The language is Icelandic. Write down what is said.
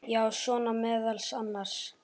Já, svona meðal annars.